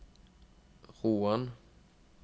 Roan